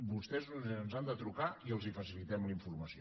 vostès ens han de trucar i els facilitem la informació